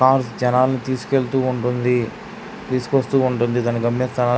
Cars జనాలు తీసుకెళ్తూ ఉంటుంది తీసుకొస్తూ ఉంటుంది. దాని --